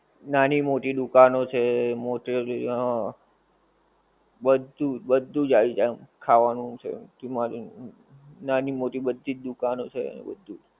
નાની મોટી દુકાનો છે, મોટી ઓલી હં. બધુ જ બધુ જ આવી જાય. ખાવાનું છે થી માંડીને નાની મોટી બધી દુકાનો છે ને બધુ જ.